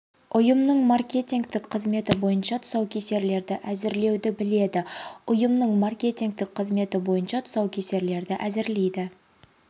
ұйымның маркетингтік қызметі бойынша тұсаукесерлерді әзірлеуді біледі ұйымның маркетингтік қызметі бойынша тұсаукесерлерді әзірлейді